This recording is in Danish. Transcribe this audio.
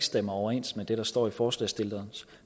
stemmer overens med det der står i forslagsstillernes